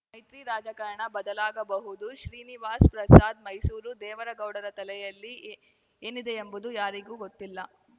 ಮೈತ್ರಿ ರಾಜಕಾರಣ ಬದಲಾಗಬಹುದು ಶ್ರೀನಿವಾಸ್ ಪ್ರಸಾದ್‌ ಮೈಸೂರು ದೇವೇಗೌಡರ ತಲೆಯಲ್ಲಿ ಏನಿದೆಯೆಂಬುದು ಯಾರಿಗೂ ಗೊತ್ತಿಲ್ಲ